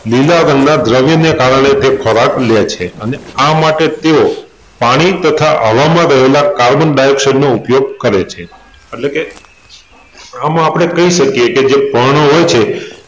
લીલા રંગ ના દ્રવ્યને કારણે તે ખોરાક લે છે અને આ માટે તેઓ પાણી તથા હવામાં રહેલાં કાર્બન ડાયોક્સાઈડ નો ઉપયોગ કરે છે એટલેકે આમાં આપણે કહી શકીએ કે જે પર્ણ હોય છે